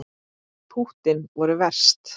Púttin voru verst.